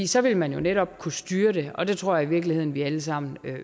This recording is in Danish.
så ville man jo netop kunne styre det og det tror jeg i virkeligheden vi alle sammen